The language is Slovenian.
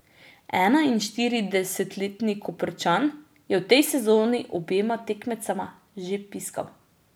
Enainštiridesetletni Koprčan je v tej sezoni obema tekmecema že piskal.